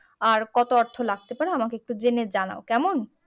আর কত অর্থ লাগতে পারে আমাকে একটু জেনে জানাও কেমন